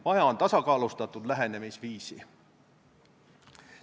Vaja on tasakaalustatud lähenemisviisi.